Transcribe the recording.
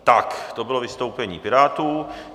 Tak to bylo vystoupení Pirátů.